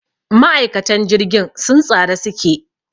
Ma'aikatan jirgin sun tsare su ke.